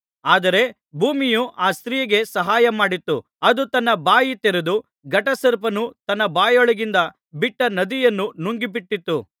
ಆದರೆ ಭೂಮಿಯು ಆ ಸ್ತ್ರೀಗೆ ಸಹಾಯಮಾಡಿತು ಅದು ತನ್ನ ಬಾಯಿ ತೆರೆದು ಘಟಸರ್ಪನು ತನ್ನ ಬಾಯೊಳಗಿಂದ ಬಿಟ್ಟ ನದಿಯನ್ನು ನುಂಗಿಬಿಟ್ಟಿತ್ತು